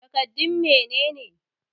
Takardun mene ne?